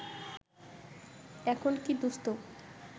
এখন কী দুস্থ